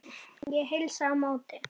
Ég heilsa á móti.